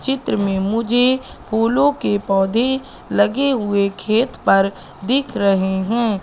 चित्र में मुझे फूलों के पौधे लगे हुए खेत पर दिख रहे हैं।